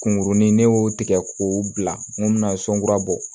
Kunkurunin ne y'o tigɛ k'o bila mun bɛna sɔn kura bɔ